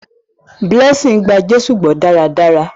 Blessing gbà Jésù gbó daradara.